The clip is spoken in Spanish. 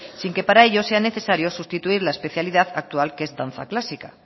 sin que para ello sea necesario sustituir la especialidad actual que es danza clásica